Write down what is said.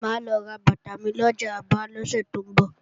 Mà á lọ ra bàtà mi lọjà Aba lọ́sẹ̀ tó ń bọ̀